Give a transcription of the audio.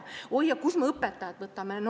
Öeldakse, et oi, aga kust me õpetajaid võtame.